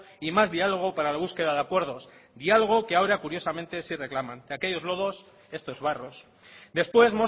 y más diálogo para la búsqueda de acuerdos diálogo que ahora curiosamente sí reclaman de aquellos lodos estos barros después